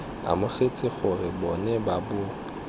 amogetse gore bo ne bo